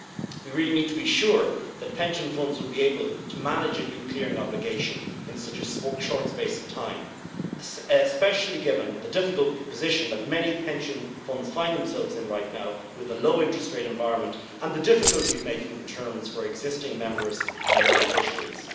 We really need to be sure that pension funds will be able to manage a new clearing obligation in such a short space of time, especially given the difficult position that many pension funds find themselves in right now with the low interest rate environment and the difficulty of making returns for existing members and beneficiaries.